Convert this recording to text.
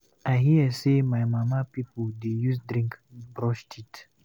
I hear sey my mama pipu dey use drink brush teet.